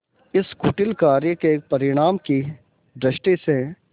इस कुटिल कार्य के परिणाम की दृष्टि से